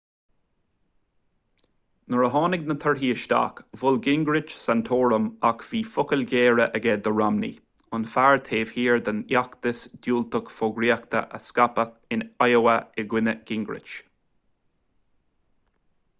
nuair a tháinig na torthaí isteach mhol gingrich santorum ach bhí focail ghéara aige do romney an fear taobh thiar den fheachtas diúltach fógraíochta a scaipeadh in iowa i gcoinne gingrich